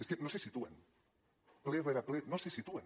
és que no se situen ple rere ple no se situen